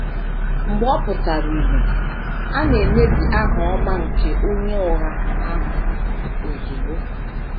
Mgbe ọ pụtara ìhè, a na - emebi aha ọma nke onye ụgha ahụ ozugbo.